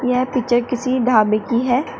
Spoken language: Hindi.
यह पिक्चर किसी ढाबे की है।